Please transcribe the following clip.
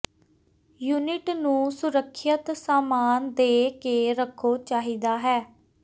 unit ਨੂੰ ਸੁਰੱਖਿਅਤ ਸਾਮਾਨ ਦੇ ਕੇ ਰੱਖੋ ਚਾਹੀਦਾ ਹੈ